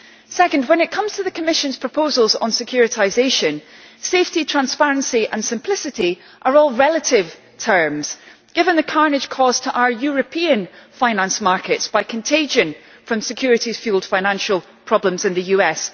Second, when it comes to the Commission's proposals on securitisation, safety, transparency and simplicity are all relative terms, given the carnage caused to our European finance markets by contagion from security fuelled financial problems in the US.